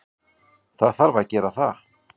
Það þarf að gera það.